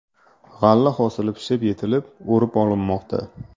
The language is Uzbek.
G‘alla hosili pishib yetilib, o‘rib olinmoqda.